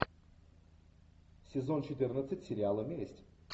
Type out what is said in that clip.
сезон четырнадцать сериала месть